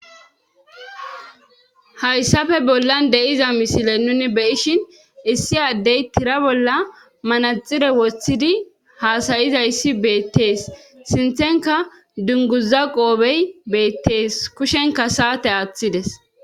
Hayssafe bollan de'iza misile nuni beyishin issi addey tira bolla manaxire wostidi haasayizayssi beettees sinthenka dunguza qoobey beettees kushenka saate aaththides.